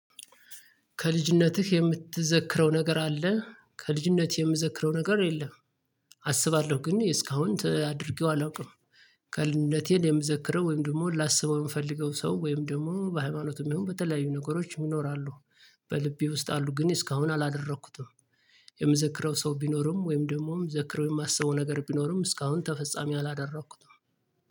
ከልጅነትህ የምትዘክረው ነገር አለ? ከልጅነቴ የምዘክረው ነገር የለም። አስባለሁ ግን እስካሁን አድርጌው አላውቅም። ከልጅነቴ የምዘክረው ወይም ደግሞ ላስበው የምፈልገው ሰው ወይም ደግሞ በሃይማኖቱም ይሁን በተለያዩ ነገሮች ይኖራሉ። በልቤ ውስጥ አሉ ግን እስካሁን አላደረኩትም። የምዘክረው ሰው ቢኖርም ወይም ደግሞ ዘክረው የማስበው ነገር ቢኖርም እስካሁን ተፈጻሚ አላደራኩትም